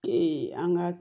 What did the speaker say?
an ka